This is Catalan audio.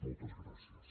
moltes gràcies